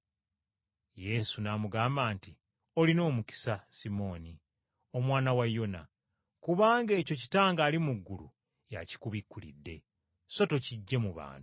Yesu n’amugamba nti, “Olina omukisa Simooni, omwana wa Yona, kubanga ekyo Kitange ali mu ggulu y’akikubikkulidde, so tokiggye mu bantu.